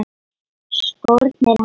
Skórnir hans.